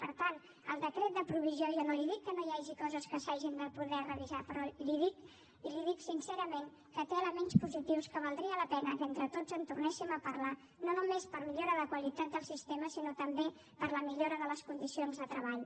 per tant en el decret de provisió jo no li dic que no hi hagi coses que s’hagin de poder revisar però li dic i li ho dic sincerament que té elements positius que valdria la pena que entre tots en tornéssim a parlar no només per a millora de qualitat del sistema sinó també per a la millora de les condicions de treball